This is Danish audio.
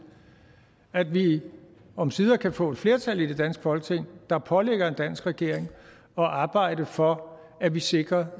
at vi omsider kan få et flertal i det danske folketing der pålægger en dansk regering at arbejde for at vi sikrer